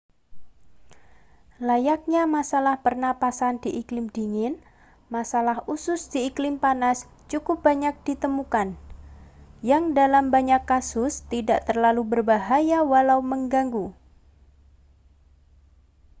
layaknya masalah pernapasan di iklim dingin masalah usus di iklim panas cukup banyak ditemukan yang dalam banyak kasus tidak terlalu berbahaya walau mengganggu